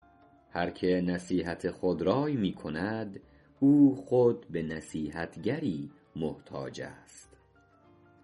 هر که نصیحت خودرای می کند او خود به نصیحتگری محتاج است